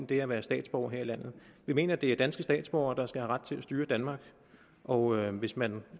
det at være statsborger her i landet vi mener det er danske statsborgere der skal have ret til at styre danmark og hvis man